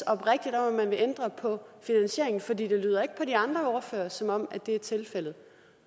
oprigtigt om at man vil ændre på finansieringen for det lyder ikke på de andre ordførere som om at det er tilfældet